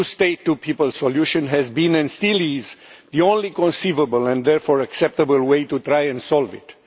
The two state, two peoples solution has been, and still is, the only conceivable and therefore acceptable way to try and solve it.